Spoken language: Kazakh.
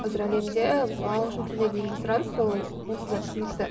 қазір әлемде мысалы ағылшын тіліне дейінгі сұраныс ол онсыз да түсінікті